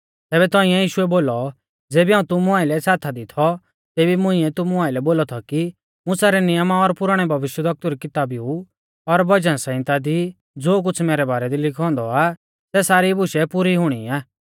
तैबै तौंइऐ यीशुऐ बोलौ ज़ेबी हाऊं तुमु आइलै साथा दी थौ तेबी मुंइऐ तुमु आइलै बोलौ थौ कि मुसा रै नियमा और पुराणै भविष्यवक्तु री किताबीऊ और भजन सहिंता दी ज़ो कुछ़ मैरै बारै दी लिखौ औन्दौ आ सै सारी बुशै पुरी हुणी आ